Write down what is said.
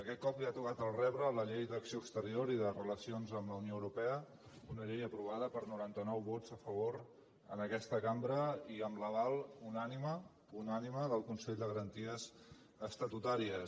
aquest cop li ha tocat el rebre a la llei d’acció exterior i de relacions amb la unió europea una llei aprovada per noranta nou vots a favor en aquesta cambra i amb l’aval unànime unànime del consell de garanties estatutàries